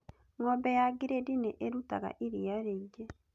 Ng'ombe ya gredi nĩ ĩrutaga iria rĩingĩ